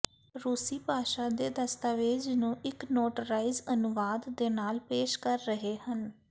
ਰੂਸੀ ਭਾਸ਼ਾ ਦੇ ਦਸਤਾਵੇਜ਼ ਨੂੰ ਇੱਕ ਨੋਟਰਾਈਜ਼ ਅਨੁਵਾਦ ਦੇ ਨਾਲ ਪੇਸ਼ ਕਰ ਰਹੇ ਹਨ